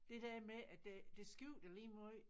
Det der med at det det skifter lige måj